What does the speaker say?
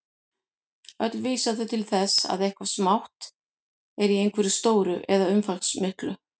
Öll vísa þau til þess að eitthvað smátt er í einhverju stóru eða umfangsmiklu.